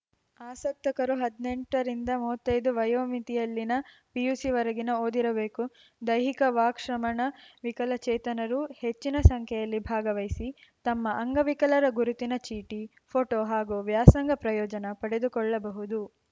ಆಸಕ್ತರು ಹದಿನೆಂಟರಿಂದ ಮುವತ್ತೈದು ವಯೋಮಿತಿಯಲ್ಲಿನ ಪಿಯುಸಿ ವರೆಗಿನ ಓದಿರಬೇಕು ದೈಹಿಕ ವಾಕ್‌ ಶ್ರವಣ ವಿಕಲಚೇತನರು ಹೆಚ್ಚಿನ ಸಂಖ್ಯೆಯಲ್ಲಿ ಭಾಗವಹಿಸಿ ತಮ್ಮ ಅಂಗವಿಕಲರ ಗುರುತಿನ ಚೀಟಿ ಪೋಟೋ ಹಾಗೂ ವ್ಯಾಸಂಗ ಪ್ರಯೋಜನ ಪಡೆದುಕೊಳ್ಳಬಹುದು